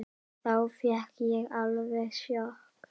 Þá fékk ég alveg sjokk.